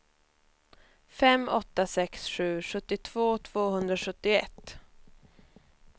fem åtta sex sju sjuttiotvå tvåhundrasjuttioett